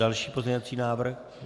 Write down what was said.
Další pozměňovací návrh.